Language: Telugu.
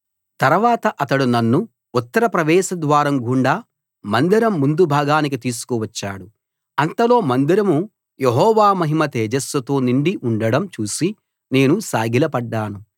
తరవాత అతడు నన్ను ఉత్తర ప్రవేశద్వారం గుండా మందిరం ముందు భాగానికి తీసుకు వచ్చాడు అంతలో మందిరం యెహోవా మహిమ తేజస్సుతో నిండి ఉండడం చూసి నేను సాగిలపడ్డాను